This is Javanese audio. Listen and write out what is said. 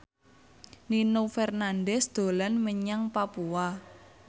Nino Fernandez dolan menyang Papua